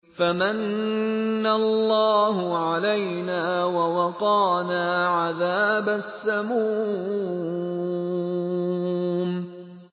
فَمَنَّ اللَّهُ عَلَيْنَا وَوَقَانَا عَذَابَ السَّمُومِ